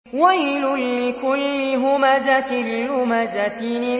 وَيْلٌ لِّكُلِّ هُمَزَةٍ لُّمَزَةٍ